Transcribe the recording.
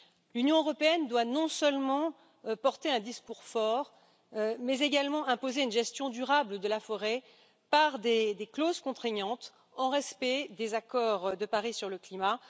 L'Union européenne doit non seulement porter un discours fort, mais également imposer une gestion durable de la forêt par des clauses contraignantes en respect des accords de Paris sur le climat.